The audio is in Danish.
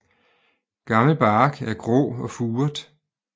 Gammel bark er grå og furet